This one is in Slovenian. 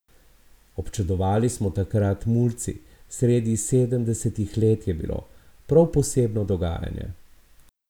Občudovali smo takrat mulci, sredi sedemdesetih let je bilo, prav posebno dogajanje.